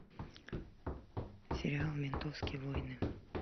сериал ментовские войны